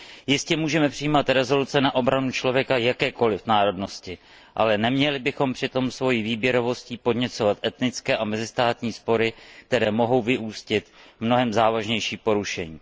Jistě můžeme přijímat usnesení na obranu člověka jakékoliv národnosti, ale neměli bychom přitom svým výběrem podněcovat etnické a mezistátní spory, které mohou vyústit v mnohem závažnější porušení.